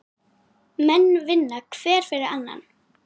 Menn vinna hver fyrir annan.